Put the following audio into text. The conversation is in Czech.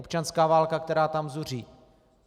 Občanská válka, která tam zuří.